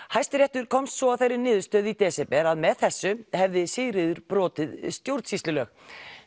Hæstiréttur komst svo að þeirri niðurstöðu í desember að með þessu hefði Sigríður brotið stjórnsýslulög